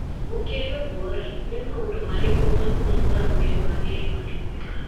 Gũkĩrĩ ũguo-rĩ, nĩ maũndũ marĩkũ ma kũnogora mwĩrĩ wagĩrĩirũo nĩ gwĩka?